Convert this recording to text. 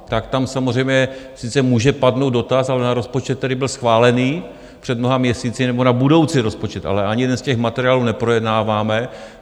Tak tam samozřejmě sice může padnout dotaz, ale na rozpočet, který byl schválený před mnoha měsíci, nebo na budoucí rozpočet, ale ani jeden z těch materiálů neprojednáváme.